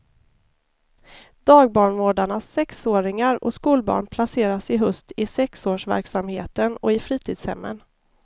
Dagbarnvårdarnas sexåringar och skolbarn placeras i höst i sexårsverksamheten och i fritidshemmen.